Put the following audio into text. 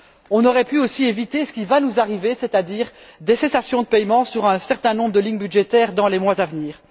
On aurait aussi pu éviter ce qui va nous arriver, c'est à dire des cessations de paiement sur un certain nombre de lignes budgétaires dans les mois à venir.